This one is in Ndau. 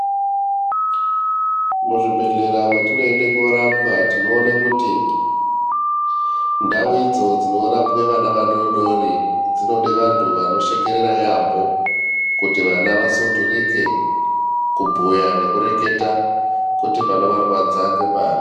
Muzvibhedhlera mwetinoenda kunorapwa tinone kuti ndao idzo dzinorapirwe vana vadodori dzinode vantu vanoshekerera yaamho kuti vana vasundurike kubhuya nekureketa kuti panovarwadza ngepari .